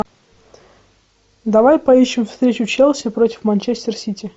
давай поищем встречу челси против манчестер сити